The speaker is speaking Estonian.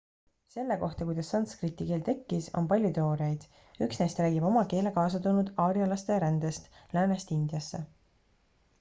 selle kohta kuidas sanskriti keel tekkis on palju teooriaid üks neist räägib oma keele kaasa toonud aarjalaste rändest läänest indiasse